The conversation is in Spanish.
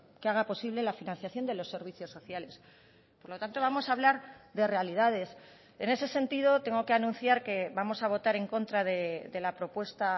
que haga posible la financiación de los servicios sociales por lo tanto vamos a hablar de realidades en ese sentido tengo que anunciar que vamos a votar en contra de la propuesta